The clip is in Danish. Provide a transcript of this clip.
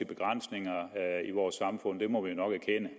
begrænsninger i vores samfund det må vi nok erkende